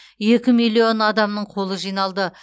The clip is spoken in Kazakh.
екі миллион адамның қолы жиналды